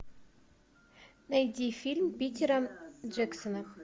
найди фильм питера джексона